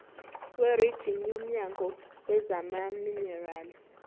werijini womnyango wezamaminerali